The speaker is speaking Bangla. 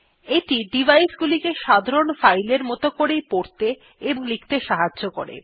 এইটি ডিভাইস গুলিকে সাধারণ ফাইলের মত করেই পড়তে ও লিখতে সাহায্য করে